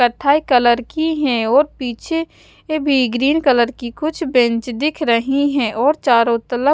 कथाई कलर की है और पीछे ये भी ग्रीन कलर की कुछ बेंच दिख रही है और चारो तलफ --